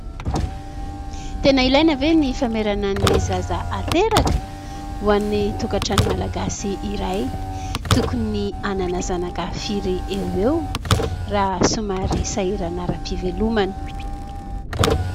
Tena ilaina ve ny famerana ny zaza ateraka ? Ho an'ny tokantrano malagasy iray tokony hanana zanaka firy eo eo raha somary sairana ara-pivelomana.